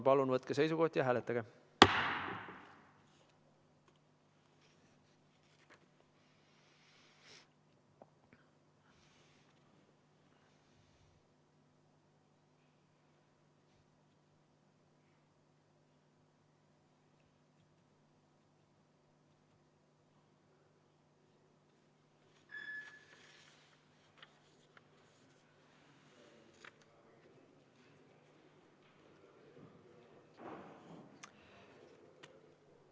Palun võtke seisukoht ja hääletage!